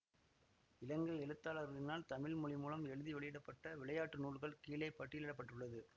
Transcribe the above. இலங்கை எழுத்தாளர்களினால் தமிழ் மொழிமூலம் எழுதி வெளியிட பட்ட விளையாட்டு நூல்கள் கீழே பட்டியலிட பட்டுள்ளது